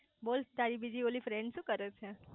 બોલ તારી બીજી ઓલી ફ્રેન્ડ શુ કરે છે